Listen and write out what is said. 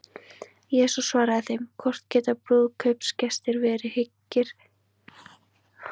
Jesús svaraði þeim: Hvort geta brúðkaupsgestir verið hryggir, meðan brúðguminn er hjá þeim?